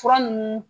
Fura nunnu